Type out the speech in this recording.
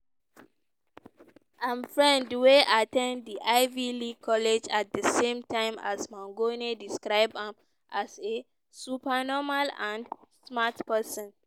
im friend wey at ten d di ivy league college at di same time as mangione describe am as a "super normal" and "smart person".